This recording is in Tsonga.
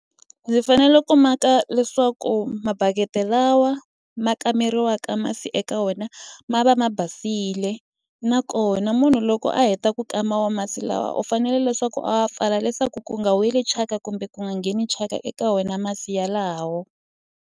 Ndzi fanele ku maka leswaku mabaketi lawa ma kameriwaka masi eka wena ma va ma basile nakona munhu loko a heta ku kama wo masi lawa u fanele leswaku a wa pfala leswaku ku nga weli thyaka kumbe ku nga ngheni thyaka eka wena masi yalawo.